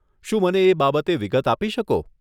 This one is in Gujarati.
શું મને એ બાબતે વિગત આપી શકો?